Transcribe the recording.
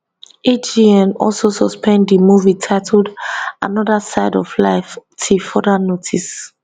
agn also suspend di movie titled another side of life till further notice